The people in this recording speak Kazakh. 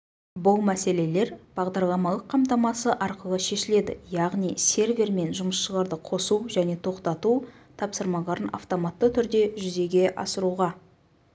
бұл мәселелер бағдарламалық қамтамасы арқылы шешіледі яғни сервер мен жұмысшыларды қосу және тоқтату тапсырмаларын автоматы түрде жүзеге асыруға